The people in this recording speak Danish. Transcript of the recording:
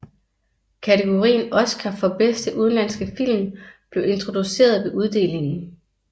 Kategorien oscar for bedste udenlandske film blev introduceret ved uddelingen